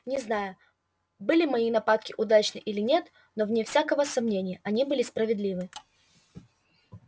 не знаю были мои нападки удачны или нет но вне всякого сомнения они были справедливы